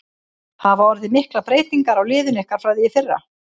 Hafa orðið miklar breytingar á liðinu ykkar frá því í fyrra?